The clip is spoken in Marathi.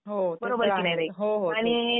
हो ते तर आहे. हो हो